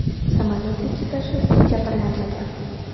Samolyot ekipaji jabrlanmagan.